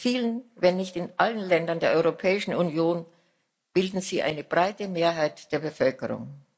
In vielen, wenn nicht in allen Ländern der Europäischen Union bilden sie eine breite Mehrheit der Bevölkerung.